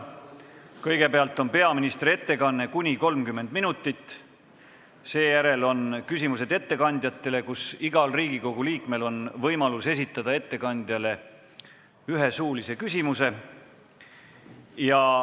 Kõigepealt on peaministri ettekanne kuni 30 minutit, seejärel küsimused ettekandjatele, kus igal Riigikogu liikmel on võimalus esitada ettekandjale üks suuline küsimus.